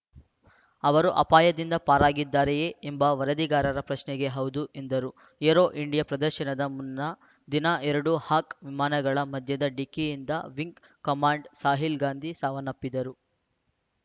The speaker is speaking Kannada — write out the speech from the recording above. ಅವರು ಅಪಾಯದಿಂದ ಪಾರಾಗಿದ್ದಾರೆಯೇ ಎಂಬ ವರದಿಗಾರರ ಪ್ರಶ್ನೆಗೆ ಹೌದು ಎಂದರು ಏರೋ ಇಂಡಿಯಾ ಪ್ರದರ್ಶನದ ಮುನ್ನಾ ದಿನ ಎರಡು ಹಾಕ್‌ ವಿಮಾನಗಳ ಮಧ್ಯದ ಡಿಕ್ಕಿಯಿಂದ ವಿಂಗ್‌ ಕಮಾಂಡರ್‌ ಸಾಹಿಲ್‌ ಗಾಂಧಿ ಸಾವನ್ನಪ್ಪಿದ್ದರು